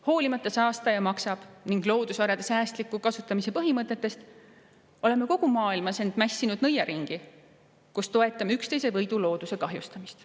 Hoolimata saastaja-maksab- ning loodusvarade säästliku kasutamise põhimõttest, oleme kogu maailmas end mässinud nõiaringi, kus toetame üksteise võidu looduse kahjustamist.